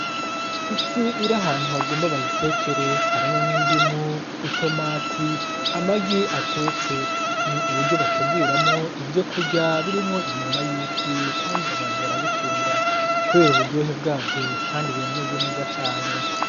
Ifi iri ahantu bagomba bayitekere, hariho n'indimu, itomati, amagi atetse. Ni uburyo bateguramwo ivyo kurya birimwo inyama y'ifi kandi abantu barabikunda kubera uburyohe bwabyo kandi birameze neza cane.